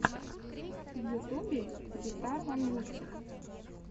в ютюбе гитарван мультик